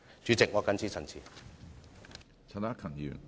主席，我謹此陳辭。